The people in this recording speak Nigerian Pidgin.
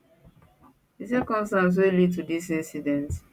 di circumstances wey lead to dis incident